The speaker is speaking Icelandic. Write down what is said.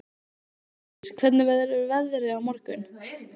Ingdís, hvernig verður veðrið á morgun?